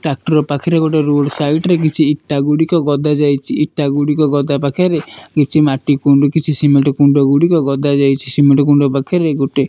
Tractor ପାଖରେ ଗୋଟେ road side ରେ କିଛି ଇଟା ଗୁଡ଼ିକ ଗଦା ଯାଇଚି। ଇଟାଗୁଡି଼କ ଗଦା ପାଖରେ କିଛି ମାଟି କୁଣ୍ଡ କିଛି ସିମେଟ୍ କୁଣ୍ଡଗୁଡ଼ିକ ଗଦା ଯାଇଚି। ସିମେଟ୍ କୁଣ୍ଡ ପାଖରେ ଗୋଟେ --